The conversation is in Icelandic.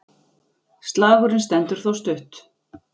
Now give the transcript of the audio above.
Slagurinn stendur þó stutt.